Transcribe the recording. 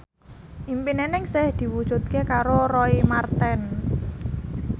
impine Ningsih diwujudke karo Roy Marten